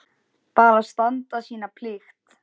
Bara standa sína plikt.